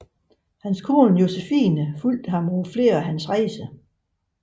Hans kone Josephine fulgte ham på flere af hans rejser